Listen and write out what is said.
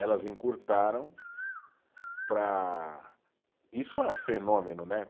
Elas encurtaram para, isso é um fenômeno, né?